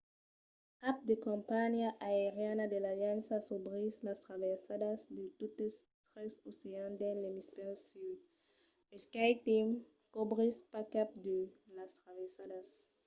cap de companhiá aeriana de l'aliança cobrís las traversadas de totes tres oceans dins l'emisfèri sud e skyteam cobrís pas cap de las traversadas